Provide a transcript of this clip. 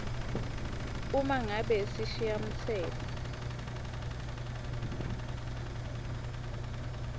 uma ngabe sishayamtsetfo